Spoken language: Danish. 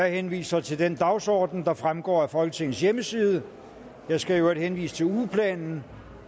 henvise til den dagsorden der fremgår af folketingets hjemmeside jeg skal øvrigt henvise til ugeplanen